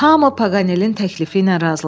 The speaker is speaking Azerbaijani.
Hamı Paganelin təklifi ilə razılaşdı.